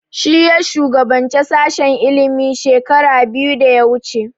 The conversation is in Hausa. Shi ya shugabance sashen ilimi shekara biyu da ya wuce